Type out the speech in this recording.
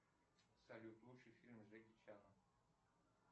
салют лучший фильм с джеки чаном